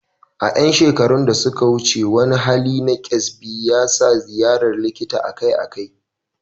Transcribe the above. A ƴan shekaru da suka wuce, wani hali na kyasbi yasa ziyarar likita akai-akai.